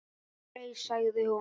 Hann fraus, sagði hún.